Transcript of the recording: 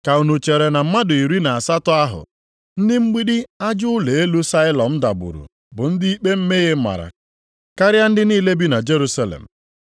Ka unu chere na mmadụ iri na asatọ ahụ, ndị mgbidi aja ụlọ elu Sailọm dagburu bụ ndị ikpe mmehie mara karịa ndị niile bi na Jerusalem?